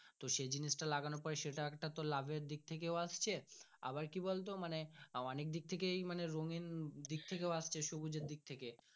সে জিনিস টা লাগানোর পরে সেটা একটা লাভ এর দিক থেকেও আসছে আবার কি বলতো মানে অনেক দিক থেকে মানে রোনিং দিক থাকে আসছে সবুজ এর দিকথেকে।